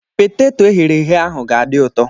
Peteto eghere eghe ahụ ga-adị ụtọ.